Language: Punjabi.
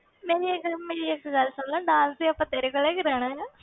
ਮੇਰੀ ਇੱਕ ਗੱਲ, ਮੇਰੀ ਇੱਕ ਗੱਲ ਸੁਣ ਲਾ dance ਤਾਂ ਆਪਾਂ ਤੇਰੇ ਕੋਲੋਂ ਹੀ ਕਰਵਾਉਣਾ ਆਂ।